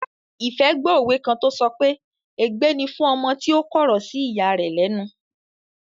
Ìfẹ́ gbó òwe kan tó sọ pé "ègbé ni fún ọmọ tí ó kọ̀rọ̀ sí ìya rẹ̀ lẹ́nu"